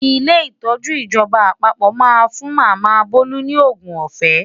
Ilé ìtọ́jú ìjọba àpapọ̀ máa ń fún Màmá Bolu ní òògùn ọ̀fẹ́.